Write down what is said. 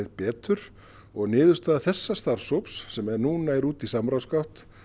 betur og niðurstaða þessa starfshóps sem er nú úti í samráðsgátt